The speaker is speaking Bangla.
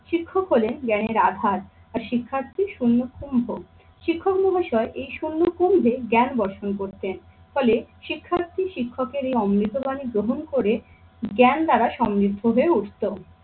শিক্ষক হলেন জ্ঞানের আধার, আর শিক্ষার্থী শূন্য খুন হোক। শিক্ষক মহাশয় এই শূন্য কুম্ভে জ্ঞান বর্ষণ করছেন ফলে শিক্ষার্থী, শিক্ষকের এই অমৃতবাণী গ্রহণ করে জ্ঞান দ্বারা সমৃদ্ধ হয়ে উঠতো।